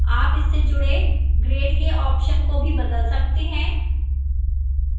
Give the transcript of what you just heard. आप इससे जुड़े grades के options को भी बदल सकते हैं